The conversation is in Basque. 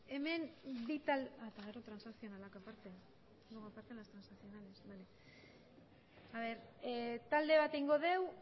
ebazpena talde bat egingo dugu